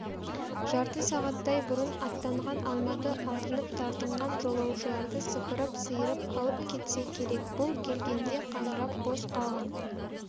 жарты сағаттай бұрын аттанған алматы артынып-тартынған жолаушыларды сыпырып-сиырып алып кетсе керек бұл келгенде қаңырап бос қалған